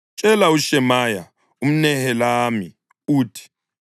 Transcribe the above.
Tshela uShemaya umNehelami uthi,